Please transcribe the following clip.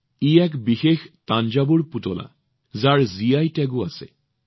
এইটো এটা বিশেষ থাঞ্জাভুৰ পুতলা যত এটা জিআই টেগো আছে